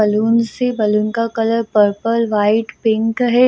Balloon से balloon का colour purple white pink है।